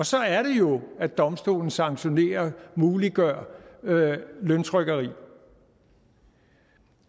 så er det jo at domstolen sanktionerer og muliggør løntrykkeri